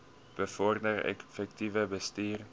bevorder effektiewe bestuur